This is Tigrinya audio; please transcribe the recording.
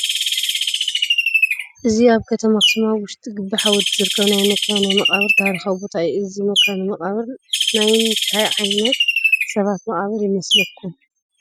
እዚ ኣብ ከተማ ኣኽሱም ኣብ ውሽጢ ግቢ ሓወልቲ ዝርከብ ናይ መካነ መቃብር ታሪካዊ ቦታ እዩ፡፡ እዚ መካነ መቃብር ናይ እንታይ ዓይነት ሰባት መቓብር ይመስለኩም?